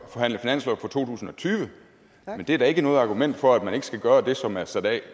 forhandle finanslov for to tusind og tyve men det er da ikke noget argument for at man ikke skal gøre det som der er sat af